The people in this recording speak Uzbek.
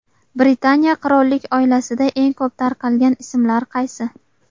Britaniya qirollik oilasida eng ko‘p tarqalgan ismlar qaysi?